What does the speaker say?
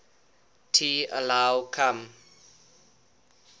t allow come